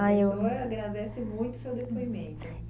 Aí eu, pessoa agradece muito o seu depoimento.